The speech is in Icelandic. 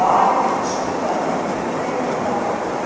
Valið getur stuðlað að myndun tegunda,